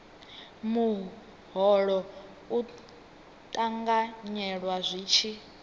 muholo u ṱanganyelwa zwi tshi